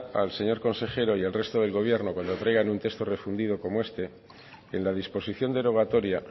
al señor consejero y al resto del gobierno cuando traigan un texto refundido como este que en la disposición derogatoria